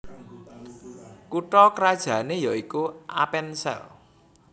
Kutha krajané yaikuAppenzell